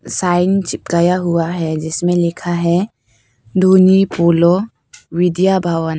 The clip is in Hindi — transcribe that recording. साइन चिपकाया हुआ है जिसमें लिखा है धोनई पोलो विद्या भवन।